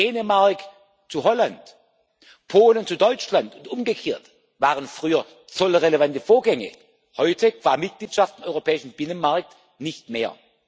Dänemark zu Holland, Polen zu Deutschland und umgekehrt waren früher zollrelevante Vorgänge, heute qua Mitgliedschaft im europäischen Binnenmarkt nicht mehr.